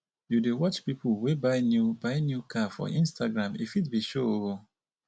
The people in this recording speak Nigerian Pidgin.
you dey watch pipu wey buy new buy new car for instagram e fit be show o.